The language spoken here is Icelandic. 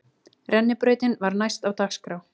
Rennibrautin var næst á dagskrá.